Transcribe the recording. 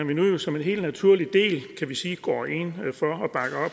vi nu som en helt naturlig del kan vi sige går ind